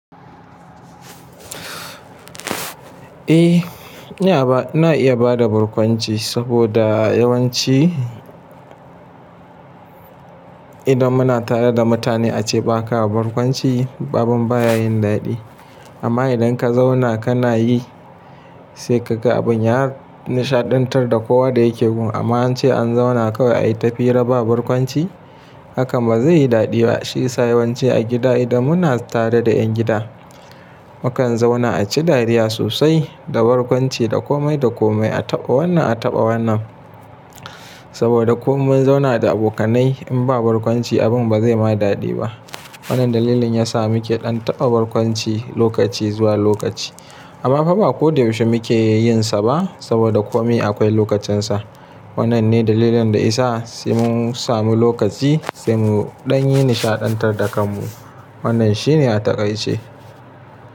Eh ina ba, ina iya bada barkwanci saboda yawanci idan muna tare da mutane ace baka barkwanci abun baya yin daɗi. Amma idan kazauna kanayi sai kaga abun ya nishaɗantar da kowa da yake gun. A amma ance an zauna kawai ayi tafira ba barkwanci hakan bazayi daɗi ba. Shi isa yawanci a gida idan muna tare da 'yan gida mukan zauna aci dariya sosai da barkwanci da komai da komai a taɓa wannan a taɓa wannan. Saboda ko mun zauna da abokanai in ba barkwanci abun bazai ma daɗi ba. Wannan dalilin yasa muke ɗan taɓa barkwanci lokaci zuwa lokaci. Amma faba ko da yaushe muke yin sa ba saboda komi akwai lokacin sa. Wannan ne dalilin da isa sai mun samu lokaci sai mu ɗan yi nishaɗantar da kan mu. Wannan shine a taƙaice.